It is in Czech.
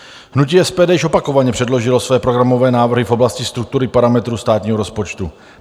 Hnutí SPD již opakovaně předložilo své programové návrhy v oblasti struktury parametrů státního rozpočtu.